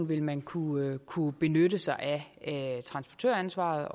vil man kunne kunne benytte sig af transportøransvaret